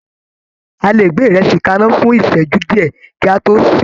A lè gbé ìrẹsì kaná fún ìsẹ́jú díẹ̀, kí a tó sè é.